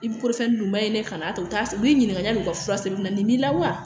I bɛ dun ma ɲi dɛ ka n'a ta u t'a u b'i ɲininka u ka fura sɛbɛn na nin b'i la wa